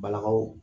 Balakaw